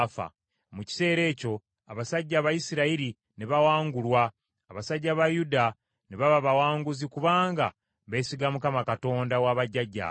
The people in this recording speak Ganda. Mu kiseera ekyo abasajja Abayisirayiri ne bawangulwa; abasajja ba Yuda ne baba bawanguzi kubanga beesiga Mukama , Katonda wa bajjajjaabwe.